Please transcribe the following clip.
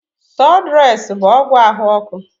Sụdụres bụ ọgwụ ahụ ọkụ.